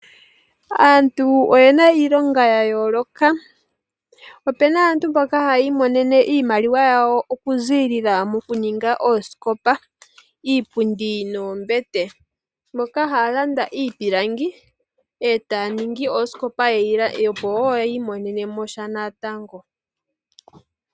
Aantu oyena iilonga ya yooloka. Ope na aantu mboka haya imonene iimaliwa yawo okuzilila mo ku ninga oosikopa, iipundi noombete. Moka haya landa iipilangi e taya ningi oosikopa opo wo ya imonene mo sha natango.